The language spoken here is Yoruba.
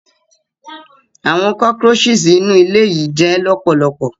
Awọn cockroaches inu ile yii jẹ lọpọlọpọ.